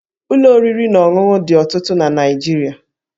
Ụlọ oriri na ọṅụṅụ dị ọtụtụ na Naịjirịa